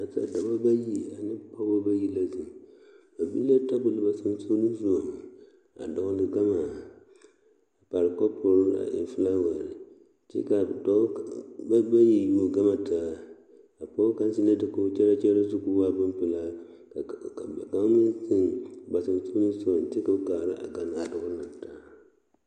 Nasadɔbɔ ayi ane pɔgeba bayi la zeŋ ba biŋ la tebol ba sensɔgleŋsɔga a dɔgle gama a pare kɔpore a eŋ filaware kyɛ ka a dɔɔ ba bayi pɔge gaŋ zeŋ la dakogi kyɛrɛkyɛrɛ zu k'o waa boŋ pelaa kaŋ meŋ zeŋ ba sensɔgleŋ sɔga kyɛ ka kaara a gane a dɔɔ naŋ taa.